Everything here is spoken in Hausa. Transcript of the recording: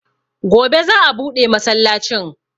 Gobe za'a buɗe masallacin.